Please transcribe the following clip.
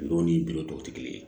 Dɔw ni tɔw tɛ kelen ye